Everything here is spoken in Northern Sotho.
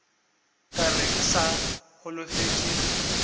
ka re ke sa holofetše